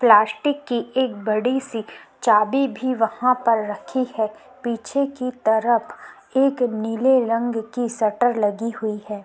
Plastic की एक बड़ी सी चाबी भी वहाँ पर रखी है। पीछे की तरफ एक नीले रंग की शटर लगी हुई है।